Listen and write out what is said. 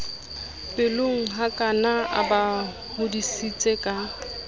pelonghakana a ba hodisitse ka